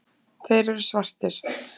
Þeir eru svartir.